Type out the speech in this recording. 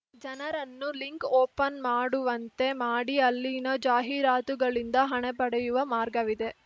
ಜನರನ್ನು link open ಮಾಡುವಂತೆ ಮಾಡಿ ಅಲ್ಲಿನ ಜಾಹೀರಾತುಗಳಿಂದ ಹಣ ಪಡೆಯುವ ಮಾರ್ಗವಿದೆ